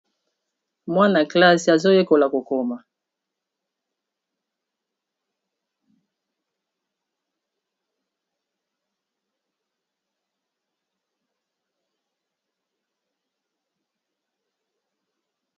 mwana classe azoyekola kokoma